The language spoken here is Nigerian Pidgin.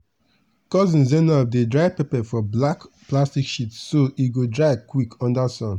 cousin zainab dey dry pepper for black plastic sheets so e go dry quick under sun.